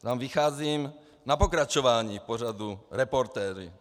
Tam vycházím na pokračování v pořadu Reportéři.